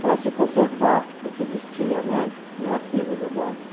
para se conservar o que existia, né, no arquivo do DOPS.